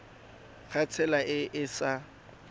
ka tsela e e sa